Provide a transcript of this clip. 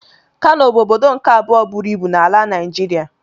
Kano bụ ọbọdọ nke abụọ bụrụ ịbụ n'ala Naijiria.